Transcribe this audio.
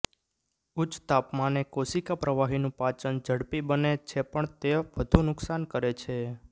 ઉચ્ચ તાપમાને કોશિકા પ્રવાહીનું પાચન ઝડપી બને છેપણ તે વધુ નુકસાન કરે છે